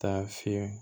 Taa fiɲɛ